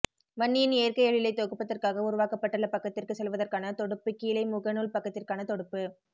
வன்னியின் இயற்கை எழிலை தொகுப்பதற்காக உருவாக்கப்பட்டுள்ள பக்கத்திற்கச் செல்வதற்கான தொடுப்பு கீழேமுகநூல் பக்கத்திற்கான தொடுப்பு